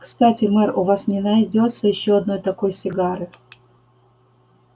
кстати мэр у вас не найдётся ещё одной такой сигары